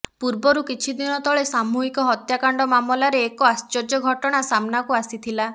ପୂର୍ବରୁ କିଛି ଦିନ ତଳେ ସାମୁହିକ ହତ୍ୟାକାଣ୍ଡ ମାମଲାରେ ଏକ ଆଶ୍ଚର୍ଯ୍ୟ ଘଟଣା ସାମ୍ନାକୁ ଆସିଥିଲା